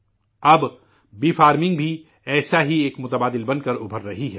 اب شہد کی مکھی کی کھیتی بھی ایسا ہی ایک متبادل بن کرابھر رہا ہے